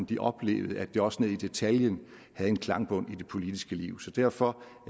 de oplevede at det også ned i detaljen har en klangbund i det politiske liv derfor